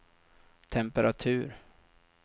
temperatur